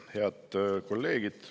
Head kolleegid!